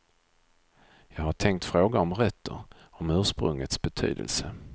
Jag har tänkt fråga om rötter, om ursprungets betydelse.